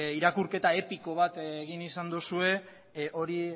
irakurketa epiko bat egin izan duzue hori